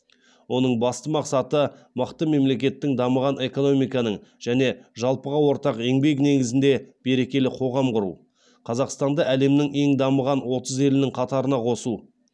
оның басты мақсаты мықты мемлекеттің дамыған экономиканың және жалпыға ортақ еңбек негізінде берекелі қоғам құру қазақстанды әлемнің ең дамыған отыз елінің қатарына қосу